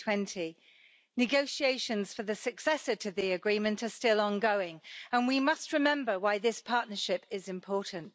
2020. Negotiations for the successor to the agreement are still ongoing and we must remember why this partnership is important.